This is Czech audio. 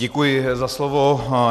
Děkuji za slovo.